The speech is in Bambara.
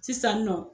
Sisan nɔ